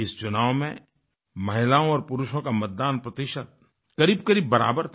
इस चुनाव में महिलाओं और पुरुषों का मतदान प्रतिशत करीबकरीब बराबर था